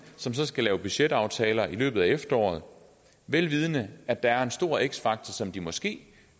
som så skal lave budgetaftaler i løbet af efteråret vel vidende at der er en stor x faktor så de måske